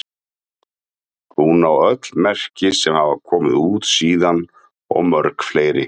Hún á öll merki sem hafa komið út síðan og mörg fleiri.